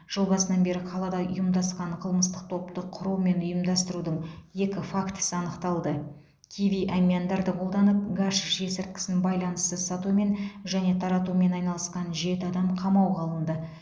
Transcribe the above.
жыл басынан бері қалада ұйымдасқан қылмыстық топты құру мен ұйымдастырудың екі фактісі анықталды киви әмияндарды қолданып гашиш есірткісін байланыссыз сатумен және таратумен айналысқан жеті адам қамауға алынды